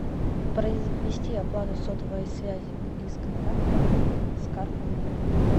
произвести оплату сотовой связи из контактов с карты мир